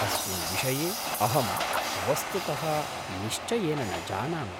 अस्मिन् विषये अहं वस्तुतः निश्चयेन न जानामि।